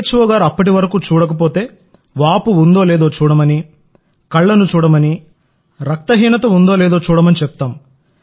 ఓ గారు అప్పటివరకు చూడకపోతే వాపు ఉందో లేదో చూడమని కళ్లను చూడమని రక్తహీనత ఉందో లేదో చూడమని చెప్తాం